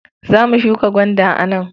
Za mu shuka gwanda a nan.